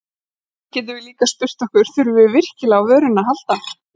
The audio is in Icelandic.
Og svo getum við líka spurt okkur: Þurfum við virkilega á vörunni að halda?